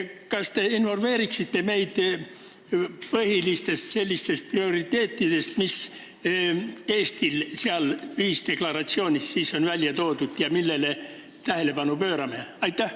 Kas te informeeriksite meid põhilistest prioriteetidest, mis Eestil selles ühisdeklaratsioonis on välja toodud ja millele me tähelepanu pöörame?